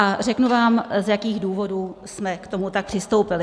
A řeknu vám, z jakých důvodů jsme k tomu tak přistoupili.